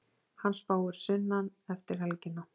Hann spáir sunnan eftir helgina.